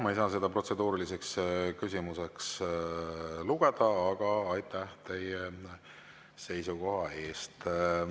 Ma ei saa seda protseduuriliseks küsimuseks lugeda, aga aitäh teie seisukoha eest.